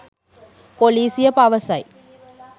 පොලිසිය පවසයි